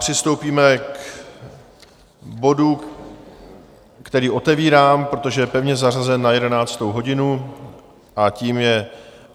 Přistoupíme k bodu, který otevírám, protože je pevně zařazen na jedenáctou hodinu a tím je